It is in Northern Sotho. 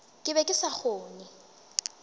ke be ke sa kgone